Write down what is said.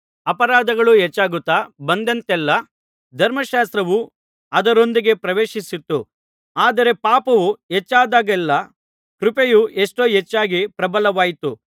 ಅಪರಾಧಗಳು ಹೆಚ್ಚಾಗುತ್ತಾ ಬಂದೆಂತಲ್ಲಾ ಧರ್ಮಶಾಸ್ತ್ರವು ಅದರೊಂದಿಗೆ ಪ್ರವೇಶಿಸಿತು ಆದರೆ ಪಾಪವು ಹೆಚ್ಚಾದಾಗಲ್ಲೇ ಕೃಪೆಯು ಎಷ್ಟೋ ಹೆಚ್ಚಾಗಿ ಪ್ರಬಲವಾಯಿತು